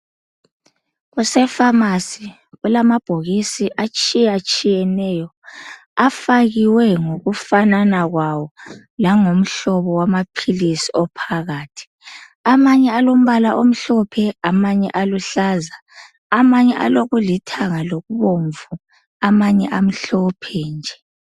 Kusefamasi kulamabhokisi atshiyatshiyeneyo afakiweyo ngokufanana kwawo langomhlobo wamaphilisi ophakathi. Amanye alombala omhlophe amanye aluhlaza, amanye alokulithanga lokubomvu. Amanye amhlophe nje.